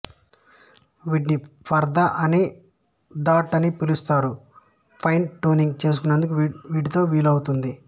వీటిని పర్దా అని థాట్ అనీ పిలుస్తారు ఫైన్ ట్యూనింగ్ చేసుకునేందుకు వీటితో వీలౌతుంది